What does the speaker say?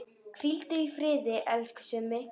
Hvíldu í friði, elsku Summi.